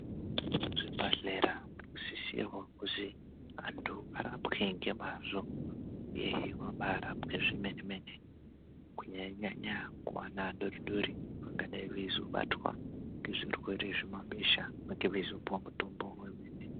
Zvibhedhlera zvinosisirwa kuzi antu arapwe nemazvo evabarapwe zvemene mene kunyanyanyanya kuvana vadodori vanenge veizobatwa nezvirwere zvemabesha sakei veizopuwa mutombo.